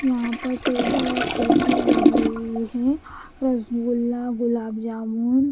यहां पर टेबल और कुर्सियां लगी हुई है रसगुल्ला गुलाब जामुन--